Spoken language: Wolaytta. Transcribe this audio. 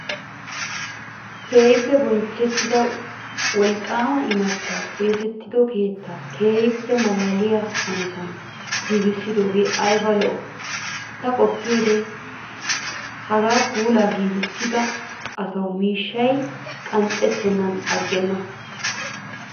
Keehippe bonchchettidaa wolqqaama imattayi xeesetto keettaa keehippe maalaaliyaa hanotan giigissidooge ayiba lo''ii. Ta qoppiyoode hagaadan puulayi giigissida asawumiishshayi qanxxettennan aggenna.